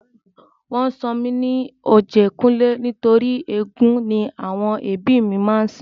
Wọn sọ mí ní Ọ̀jẹ́kúnlé nítorí éégún ni àwọn ẹbí mi máa ń sìn